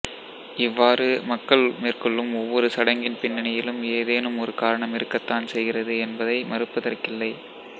இவ்வாறு மக்கள் மேற்கொள்ளும் ஒவ்வொரு சடங்கின் பின்னணியிலும் ஏதேனும் ஒரு காரணம் இருக்கத்தான் செய்கிறது என்பதை மறுப்பதற்கில்லை